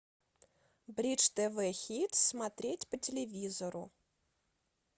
бридж тв хит смотреть по телевизору